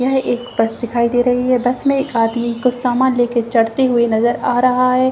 यह एक बस दिखाई दे रही है बस में एक आदमी को समान लेकर चढ़ते हुए नजर आ रहा है।